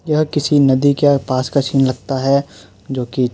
यह किसी नदी के पास का सीन लगता है। जो कि --